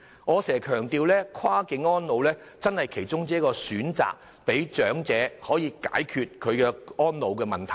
我經常強調跨境安老是其中一個選擇，讓長者可以解決安老問題。